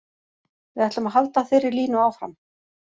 Við ætlum að halda þeirri línu áfram.